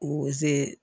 O ze